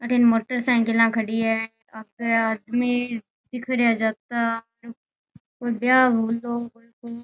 अठीने मोटरसाइकिल खड़ी है आगे आदमी दिख रिया है जाता कोई ब्याव होयो कोई को।